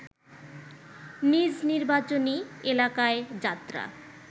নিজ নির্বাচনী এলাকায় যাত্রা